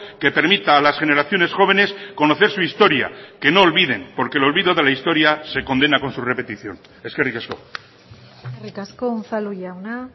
que permita a las generaciones jóvenes conocer su historia que no olviden porque el olvido de la historia se condena con su repetición eskerrik asko eskerrik asko unzalu jauna